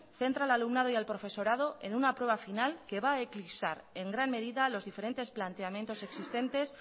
centra al alumnado y al profesorado en una prueba final que va a eclipsar en gran medida los diferentes planteamientos existentes